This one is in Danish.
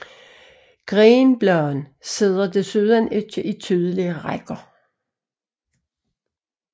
Grenbladene sidder desuden ikke i tydelige rækker